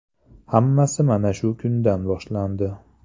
Hammasi mana shu kundan boshlandi.